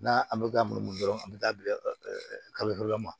N'a an bɛ ka munumunu dɔrɔn an bɛ taa bi ɛ kaburu dɔ ma